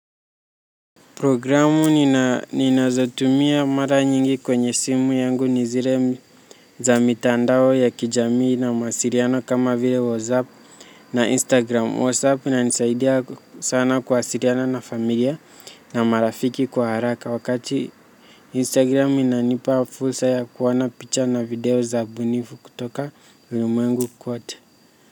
Programu ninazotumia mara nyingi kwenye simu yangu ni zile za mitandao ya kijamii na mawasiliano kama vile whatsapp na instagram, whatsapp inanisaidia sana kuwasiliana sana na familia na marafiki kwa haraka wakati instagram inanipa fursa ya kuona picha na video za ubunifu kutoka ulimwengu kwote.